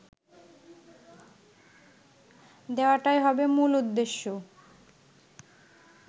দেওয়াটাই হবে মূল উদ্দেশ্য